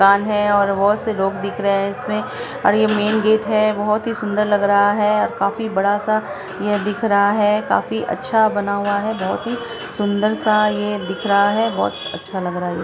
मकान है और बहुत से लोग दिख रहे हैं इसमें और ये मेन गेट है बहुत ही सुंदर लग रहा है और काफी बड़ा सा यह दिख रहा है काफी अच्छा बना हुआ है बहुत ही सुंदर सा ये दिख रहा है काफी अच्छा बना हुआ है बहुत ही सुंदर सा ये दिख रहा है बहुत ही अच्छा लग रहा है ये।